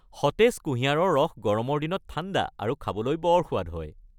সতেজ কুঁহিয়াৰৰ ৰস গৰমৰ দিনত ঠাণ্ডা আৰু খাবলৈ বৰ সোৱাদ হয়।